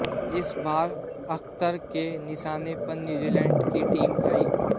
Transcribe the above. इस बार अख्तर के निशाने पर न्यूजीलैंड की टीम आई